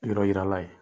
Yɔrɔ yirala ye